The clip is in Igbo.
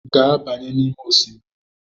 Gaa banye n'ime osimiri!